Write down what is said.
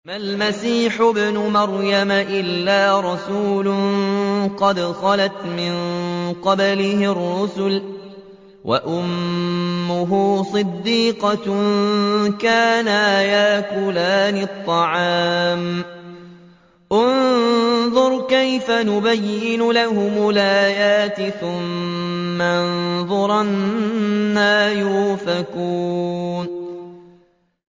مَّا الْمَسِيحُ ابْنُ مَرْيَمَ إِلَّا رَسُولٌ قَدْ خَلَتْ مِن قَبْلِهِ الرُّسُلُ وَأُمُّهُ صِدِّيقَةٌ ۖ كَانَا يَأْكُلَانِ الطَّعَامَ ۗ انظُرْ كَيْفَ نُبَيِّنُ لَهُمُ الْآيَاتِ ثُمَّ انظُرْ أَنَّىٰ يُؤْفَكُونَ